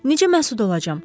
Necə məsud olacam?